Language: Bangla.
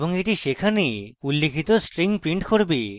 এবং এটি সেখানে উল্লিখিত string print করবে